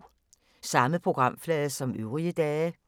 Samme programflade som øvrige dage